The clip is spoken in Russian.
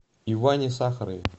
иване сахарове